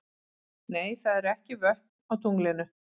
Nei, það eru ekki vötn á tunglinu.